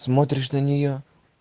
смотришь на нее